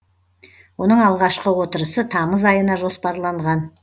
оның алғашқы отырысы тамыз айына жоспарланған